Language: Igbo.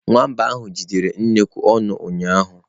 Nwamba ahụ jidere nnukwu ọnụ ụnyaahụ.